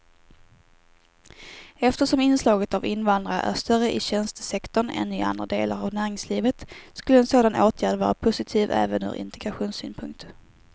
Eftersom inslaget av invandrare är större i tjänstesektorn än i andra delar av näringslivet skulle en sådan åtgärd vara positiv även ur integrationssynpunkt.